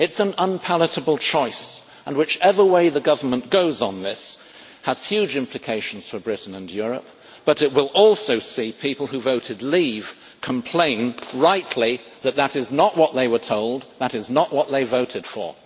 It is an unpalatable choice, and whichever way the government goes on this has huge implications for Britain and Europe, but it will also see people who voted leave' complain, rightly, that this is not what they were told, and not what they voted for.